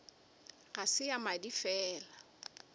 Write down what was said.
ga se ya madi fela